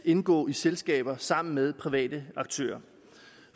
indgå i selskaber sammen med private aktører